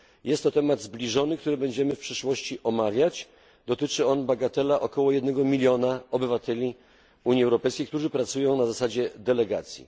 Jest to temat zbliżony, który będziemy w przyszłości omawiać i dotyczy on, bagatela, około 1mln obywateli Unii Europejskiej, którzy pracują na zasadzie delegacji.